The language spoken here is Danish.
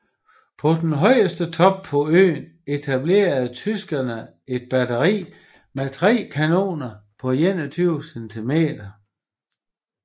På den højeste top på øen etablerede tyskerne et batteri med 3 kanoner på 21 cm